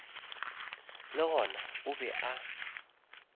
le gona o be a